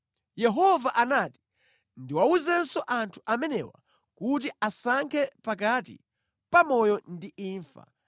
“Yehova anati ndiwawuzenso anthu amenewa kuti asankhe pakati pa moyo ndi imfa.